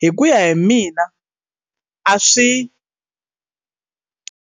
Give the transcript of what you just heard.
hi ku ya hi mina a swi.